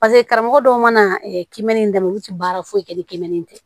Paseke karamɔgɔ dɔw mana kɛnmɛnni in daminɛ olu tɛ baara foyi kɛ ni kimɛni tɛ